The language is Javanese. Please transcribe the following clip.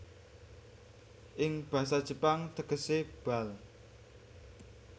Ing basa Jepang tegese bal